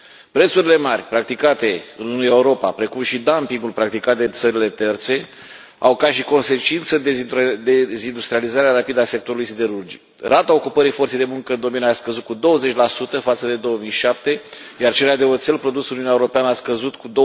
Prețurile mari practicate în Europa, precum și dumpingul practicat de țările terțe au ca și consecință dezindustrializarea rapidă a sectorului siderurgic. Rata ocupării forței de muncă în domeniu a scăzut cu 20 față de 2007, iar cererea de oțel produs în Uniunea Europeană a scăzut cu